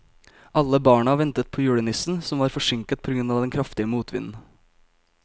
Alle barna ventet på julenissen, som var forsinket på grunn av den kraftige motvinden.